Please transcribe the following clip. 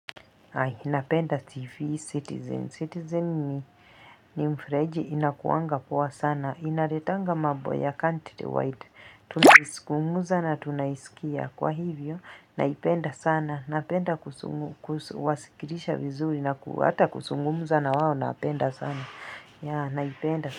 Hai napenda tv citizen citizen ni mfreji inakuangapua sana inaretanga mabo ya country wide tunaizungumuza na tunaisikia kwa hivyo naipenda sana napenda kuzungu kusikirisha vizuri na kuhata kusungumuza na wawo naapenda sana ya naipenda sana.